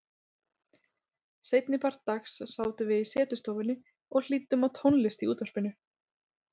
Seinnipart dags sátum við í setustofunni og hlýddum á tónlist í útvarpinu.